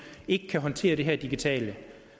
ikke kan håndtere det her digitale